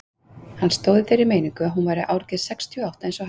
Hann stóð í þeirri meiningu að hún væri árgerð sextíu og átta eins og hann.